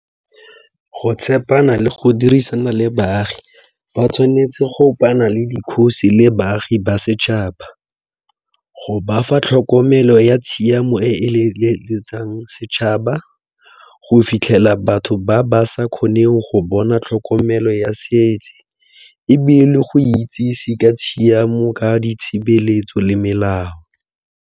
Go tshepana le go dirisana le baagi fa tshwanetse go kopana le dikgosi le baagi ba setšhaba, go bafa tlhokomelo ya tshiamo e setšhaba go fitlhela batho ba ba sa kgoneng go bona tlhokomelo ya ebile go itsise ka tshiamo ka ditshebeletso le melao.